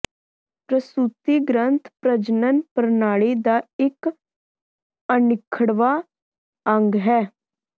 ਪ੍ਰਸੂਤੀ ਗ੍ਰੰਥ ਪ੍ਰਜਨਨ ਪ੍ਰਣਾਲੀ ਦਾ ਇਕ ਅਨਿੱਖੜਵਾਂ ਅੰਗ ਹੈ